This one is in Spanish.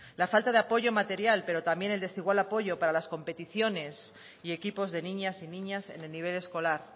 la falta de apoyo material pero también el desigual apoyo para las competiciones y equipos de niñas y niñas en el nivel escolar